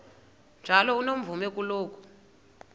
njalo unomvume kuloko